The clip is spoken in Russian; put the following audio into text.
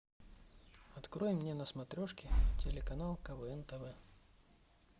открой мне на смотрешке телеканал квн тв